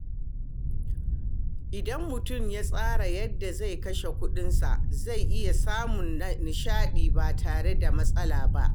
Idan mutum ya tsara yadda zai kashe kuɗinsa, zai iya samun nishaɗi ba tare da matsala ba.